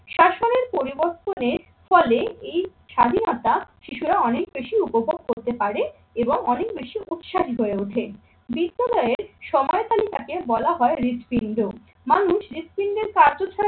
শাসনের পরিবর্তনের ফলে এই স্বাধীনতা শিশুরা অনেক বেশি উপভোগ করতে পারে এবং অনেক বেশি উৎসাহী হয়ে ওঠে। বিদ্যালয়ে সময়কালী তাকে বলা হয় হৃদপিণ্ড। মানুষ হৃদপিন্ডের কার্য ছাড়া